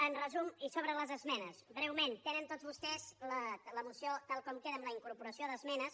en resum i sobre les esmenes breument tenen tots vostès la moció tal com queda amb la incorporació d’esmenes